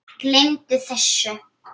Gleymdu þessu